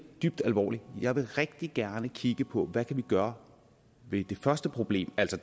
dybt alvorligt jeg vil rigtig gerne kigge på hvad kan gøre ved det første problem altså